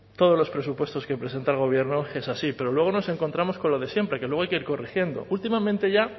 todos los presupuestos que presenta el gobierno es así pero luego nos encontramos con lo de siempre que luego hay que ir corrigiendo últimamente ya